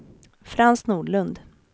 Frans Nordlund